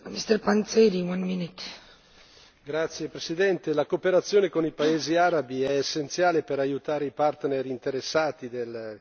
Signor Presidente, onorevoli colleghi, la cooperazione con i paesi arabi è essenziale per aiutare i partner interessati del